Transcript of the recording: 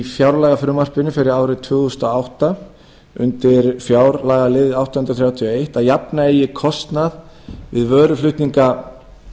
fjárlagafrumvarpinu fyrir árið tvö þúsund og átta undir fjárlagalið átta hundruð þrjátíu og eitt að jafna eigi kostnað við vöruflutninga